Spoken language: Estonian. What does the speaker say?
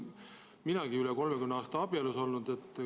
Minagi olen üle 30 aasta abielus olnud.